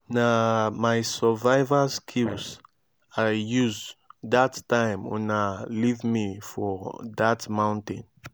na my survival skills i use dat time una leave me for dat mountain